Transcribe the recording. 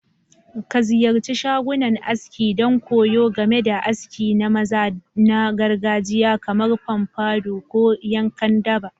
Ka ziyarci shagunan aski don koyo game da aski na maza na gargajiya kamar pompadour ko yankan daba.